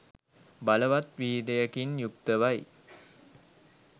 බලවත් වීර්යයකින් යුක්තව යි.